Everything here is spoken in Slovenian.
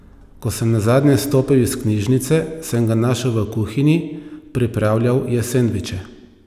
Ko sem nazadnje stopil iz knjižnice, sem ga našel v kuhinji, pripravljal je sendviče.